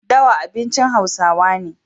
dawa abincin hausawa ne